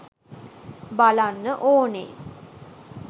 බලන්න ඕනේ